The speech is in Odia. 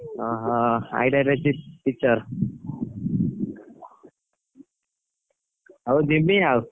ଓହୋ IITR ରେ teacher ହଉ ଜିମି ଆଉ।